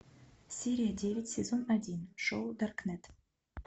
серия девять сезон один шоу даркнет